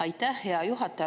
Aitäh, hea juhataja!